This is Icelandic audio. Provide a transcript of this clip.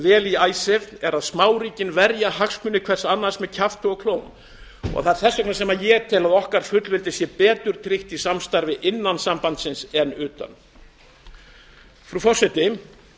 vel í icesave er að smáríkin verja hagsmuni hvert annars með kjafti og klóm þess vegna tel ég að fullveldi okkar sé betur tryggt í samstarfi innan sambandsins en utan frú forseti